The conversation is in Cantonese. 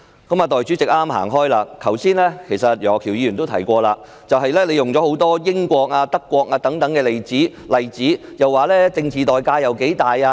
代理主席剛剛離席，其實楊岳橋議員剛才也提到她舉出很多例子，如英國和德國等，提到政治代價有多大。